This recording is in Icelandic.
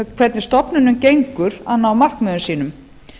hvernig stofnunum gengur að ná markmiðum sínum